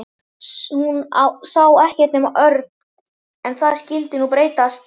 Hún sá ekkert nema Örn. En það skyldi nú breytast.